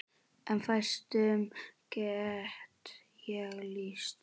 En fæstum get ég lýst.